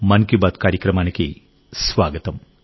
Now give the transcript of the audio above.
మన్ కీ బాత్ కార్యక్రమానికి స్వాగతం